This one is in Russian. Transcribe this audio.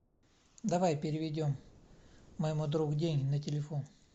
давай переведем моему другу деньги на телефон